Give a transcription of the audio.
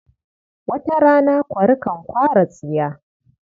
Wata rana kwari kan kwara tsiya.